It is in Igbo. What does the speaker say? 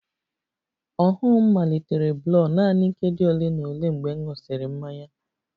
Ọhụụ m malitere blur nanị nkeji ole na ole mgbe m ṅụsịrị mmanya